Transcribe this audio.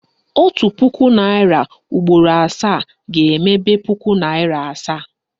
Otu puku naịra ugboro asaa ga-emebe puku naịra asaa